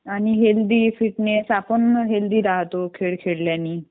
आणि healthy fitness आपण healthy राहतो खेळ खेळल्याने